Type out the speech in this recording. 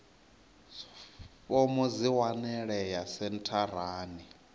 fomo dzi a wanalea sentharani